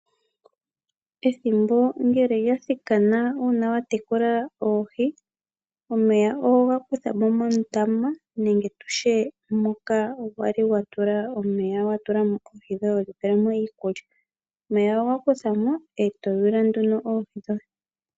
Ethimbo ngele lya thikana uuna watekula oohi omeya oho ga kutha mo mondama nenge tutye moka wali watula omeya wa tula mo oohi dhoye hodhi pele mo iikulya, omeya oho ga kutha mo eto yuula nduno oohi dhoye.